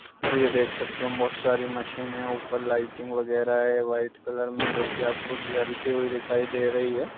और ये देख सकते हैं बहुत सारी मशीने हैं। ऊपर लाइटिंग वगेरा है वाईट कलर में जोकि आपको जलती हुई दिखाई दे रही है।